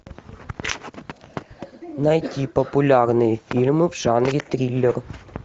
найти популярные фильмы в жанре триллер